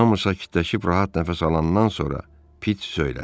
Hamı sakitləşib rahat nəfəs alandan sonra Pit söylədi.